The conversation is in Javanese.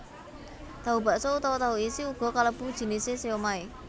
Tahu bakso utawa tahu isi uga kalebu jinisé siomai